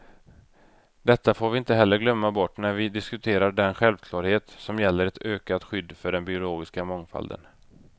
Detta får vi inte heller glömma bort när vi diskuterar den självklarhet som gäller ett ökat skydd för den biologiska mångfalden.